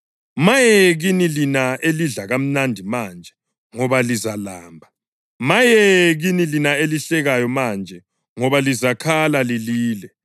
Maye kini lina elidla kamnandi manje, ngoba lizalamba. Maye kini lina elihlekayo manje, ngoba lizakhala lilile.